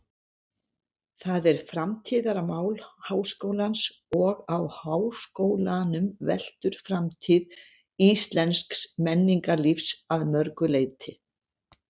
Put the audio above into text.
Það er framtíðarmál háskólans og á háskólanum veltur framtíð íslensks menningarlífs að mörgu leyti.